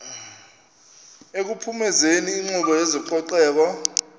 ekuphumezeni inkqubo yezococeko